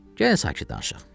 Gəlin sakit danışaq.